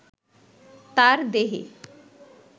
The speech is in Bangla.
তার দেহে